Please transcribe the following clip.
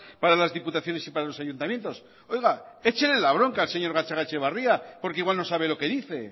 para las diputaciones y para los ayuntamientos oiga échele la bronca al señor gatzagaetxebarria porque igual no sabe lo que dice